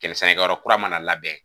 sɛnɛkɛyɔrɔ kura mana labɛn.